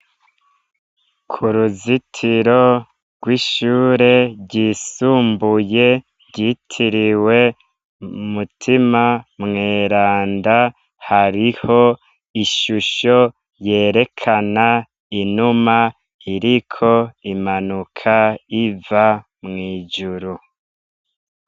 Ku ruzitiro rw'ishure ryisumbuye ryitiriwe mutima mweranda hariho ishusho yerekana inuma iriko imanuka iva mw'ijuru.